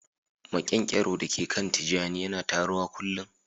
Maƙyankyaro da ke kan tijani yana taruwa kullun